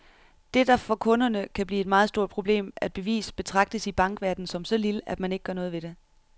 Det, der for kunderne kan blive et meget stort problem at bevise, betragtes i bankverdenen som så lille, at man ikke gør noget ved det.